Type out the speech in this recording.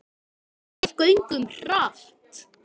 Við göngum hratt.